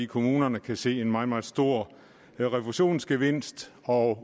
kommunerne kan se en meget meget stor refusionsgevinst og